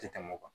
Tɛ tɛmɛ o kan